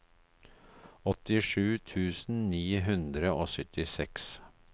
åttisju tusen ni hundre og syttiseks